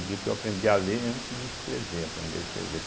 Eu digo que eu aprendi a ler antes de escrever, aprender a escrever.